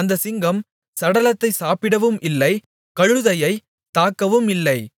அந்தச் சிங்கம் சடலத்தை சாப்பிடவும் இல்லை கழுதையை தாக்கவும் இல்லை